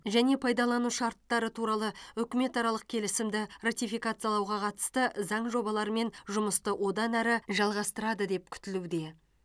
және пайдалану шарттары туралы үкіметаралық келісімді ратификациялауға қатысты заң жобаларымен жұмысты одан әрі жалғастырады деп күтілуде